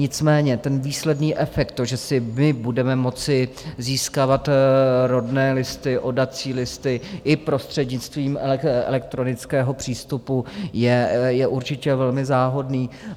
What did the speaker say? Nicméně ten výsledný efekt, to, že si my budeme moci získávat rodné listy, oddací listy i prostřednictvím elektronického přístupu, je určitě velmi záhodný.